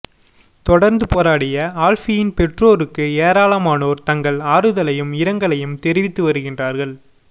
தொடர்ந்து போராடிய ஆல்ஃபீயின் பெற்றோருக்கு ஏராளமானோர் தங்கள் ஆறுதலையும் இரங்கலையும் தெரிவித்து வருகிறார்கள்